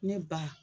Ne ba